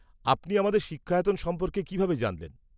আমার মনে হয় আমি নামটা শুনেছি, কিন্তু আমি এটা সম্পর্কে বেশী কিছু জানি না।